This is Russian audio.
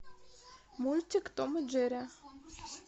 мультик том и джерри